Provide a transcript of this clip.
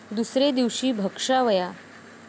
दुसरे दिवशी भक्षावया ॥